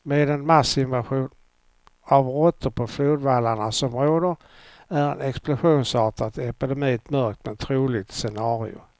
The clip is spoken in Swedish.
Med den massinvasion av råttor på flodvallarna som råder är en explosionsartad epidemi ett mörkt, men troligt scenario.